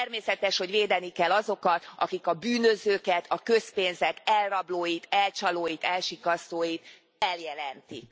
Természetes, hogy védeni kell azokat, akik a bűnözőket, a közpénzek elrablóit, elcsalóit, elsikkasztóit feljelentik.